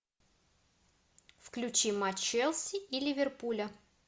включи матч челси и ливерпуля